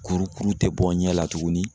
Kurukuru tɛ bɔ n ɲɛ la tuguni